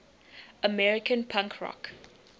american punk rock